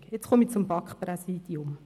Jetzt komme ich zu BaK-Präsidium: